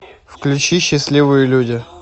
включи счастливые люди